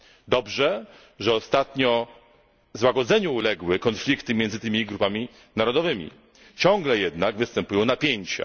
Dobrze, że ostatnio złagodzeniu uległy konflikty między tymi grupami narodowymi, ciągle jednak występują napięcia.